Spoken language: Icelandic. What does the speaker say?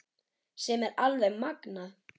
Sem er alveg magnað.